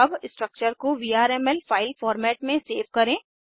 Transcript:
अब स्ट्रक्चर को VRML file format में सेव करें